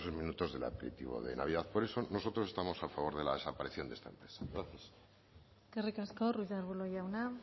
minutos del aperitivo de navidad por eso nosotros estamos a favor de la desaparición de esta empresa gracias eskerrik asko ruiz de arbulo jauna